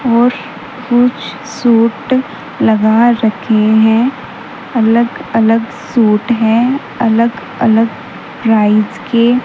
और कुछ सूट लगा रखे हैं अलग अलग सूट है अलग अलग प्राइस के--